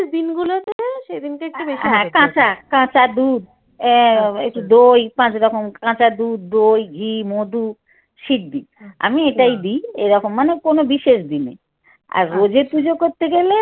কাঁচা কাঁচা দুধ এর একটু দই পাঁচরকম কাঁচা দুধ দই ঘি মধু সিদ্ধি আমি এটাই দিই এ রকম মানে কোনো বিশেষ দিনে আর রোজ পুজো করতে গেলে